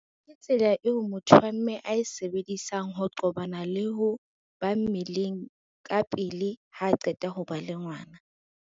Ke tsela eo motho wa mme a e sebedisang ho qobana le ho ba mmeleng ka pele ha qeta ho ba le ngwana.